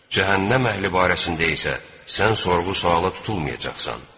Cəhənnəm əhli barəsində isə sən sorğu-suala tutulmayacaqsan.